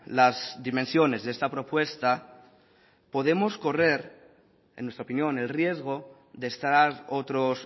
las dimensiones de esta propuesta podemos correr en nuestra opinión el riesgo de estar otros